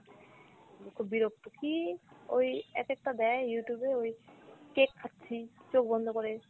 খুব বিরক্ত, কী ওই এক একটা দেয় Youtube এ ওই cake খাচ্ছি চোখ বন্ধ করে,